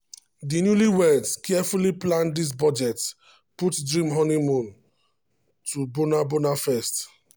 di newlyweds carefully plan dia budget put dream honeymoon to bora bora first.